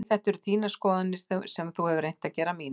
Nei þetta eru þínar skoðanir sem þú hefur reynt að gera að mínum.